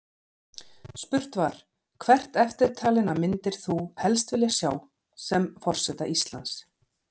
Spurt var: Hvert eftirtalinna myndir þú helst vilja sjá sem forseta Íslands?